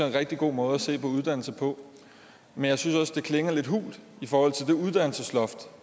en rigtig god måde at se på uddannelse på men jeg synes også det klinger lidt hult i forhold til det uddannelsesloft